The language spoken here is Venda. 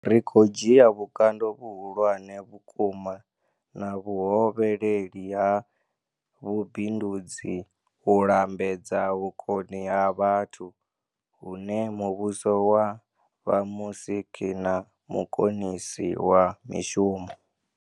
Ri khou dzhia vhukando vhuhulwane vhukuma na vhuhovheleli ha vhubindudzi u lambedza vhukoni ha vhathu, hune muvhuso wa vha musiki na mukonisi wa mishumo.